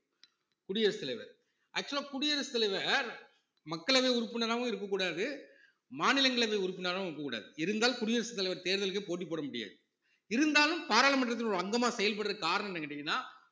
குடியரசு தலைவர் actual ஆ குடியரசுத் தலைவர் மக்களவை உறுப்பினராவும் இருக்கக்கூடாது மாநிலங்களவை உறுப்பினராவும் இருக்கக்கூடாது இருந்தால் குடியரசுத் தலைவர் தேர்தலுக்கே போட்டி போட முடியாது இருந்தாலும் பாராளுமன்றத்தில் ஒரு அங்கமா செயல்படுறதுக்கு காரணம் என்னன்னு கேட்டீங்கன்னா